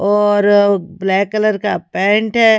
और black colour का pant हैं।